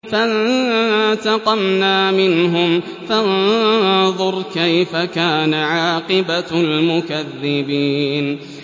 فَانتَقَمْنَا مِنْهُمْ ۖ فَانظُرْ كَيْفَ كَانَ عَاقِبَةُ الْمُكَذِّبِينَ